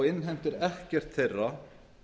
innheimtir ekkert þeirra